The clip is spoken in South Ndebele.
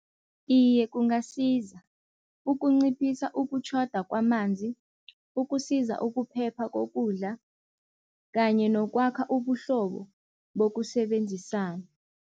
Iye kungasiza ukunciphisa ukutjhoda kwamanzi, ukusiza ukuphepha kokudla kanye nokwakha ubuhlobo bokusebenzisana.